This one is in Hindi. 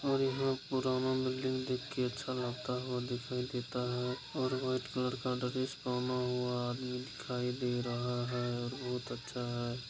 और यहाँ पुराना बिल्डिंग देख के अच्छा लगता हुआ दिखाई देता है और व्हाइट कलर का ड्रेस पहना हुआ आदमी दिखाई दे रहा है और बोहोत अच्छा है ।